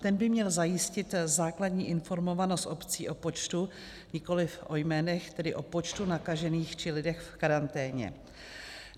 Ten by měl zajistit základní informovanost obcí o počtu, nikoliv o jménech, tedy o počtu nakažených či lidech v karanténě.